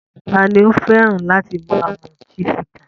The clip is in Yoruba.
Ta ni ó fẹ́ràn láti máa mu Chivita?